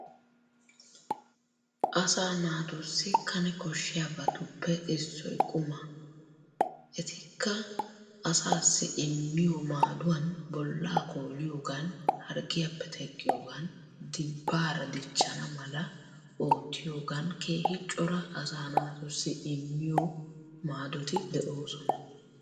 Asa naatussi kane koshshiyabatuppe issoy qumma.e Etika asaassi immiyo madduwan, bolla kolliyoogan, harggiyappe teqqiyoogan, dibbaara dichana mala ottiyoogan keehi cora asa naatussi immiyo maaddoti de'oosona.